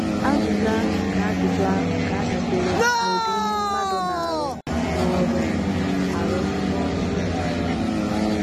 Azịza nke ajụjụ ahụ ga - adabere n’ụdị ihe mmadụ na - arụ n’ọrụ - arụ n’ọrụ nọọsụ.